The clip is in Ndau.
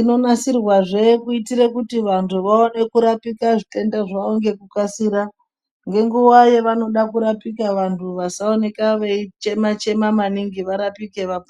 Inonasirwazve kuitire kuti vantu vawane kurapika zvitenda zvawo ngekukasira, nenguwa yawanode kurapika wanhu wasaenda veichema chema maningi varapike vapore.